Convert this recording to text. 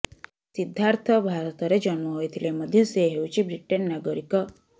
ସିଦ୍ଧାର୍ଥ ଭାରତରେ ଜନ୍ମ ହୋଇଥିଲେ ମଧ୍ୟ ସେ ହେଉଛି ବ୍ରିଟେନ ନାଗରିକ